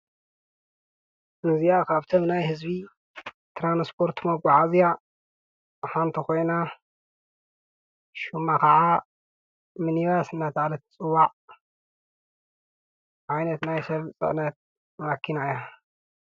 እዚአ ካብተን ናይ ህዚቢ ትራንስፖርት መጋዓዚያ ሓንቲ ኮይና ሹማ ከዓ ሚኒባስ እናተባህለት ተፅዋዕ ዓይነት ናይ ሰብ ፅዕነት መኪና እያ፡፡